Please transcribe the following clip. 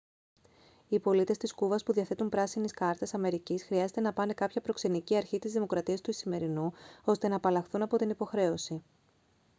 οι πολίτες της κούβας που διαθέτουν πράσινη κάρτας αμερικής χρειάζεται να πάνε κάποια προξενική αρχή της δημοκρατίας του ισημερινού ώστε να απαλλαχθούν από την υποχρέωση